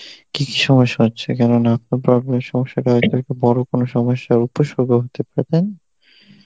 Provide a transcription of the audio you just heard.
কী কী সমস্যা হচ্ছে কেন নাক problem এর সমস্যা টা আজকাল খুব বড় কোন সমস্যার উপসর্গ হতে পারে, তাই না?